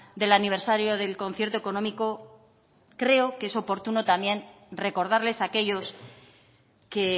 del aniversario del concierto económico creo que es oportuno también recordarles aquellos que